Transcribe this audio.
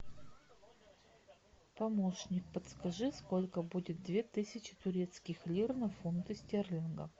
помощник подскажи сколько будет две тысячи турецких лир на фунты стерлингов